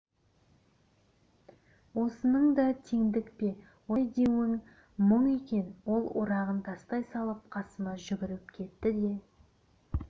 осының да теңдік пе осылай деуім мұң екен ол орағын тастай салып қасыма жүгіріп кетті де